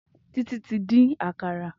Titi ti din àkàrà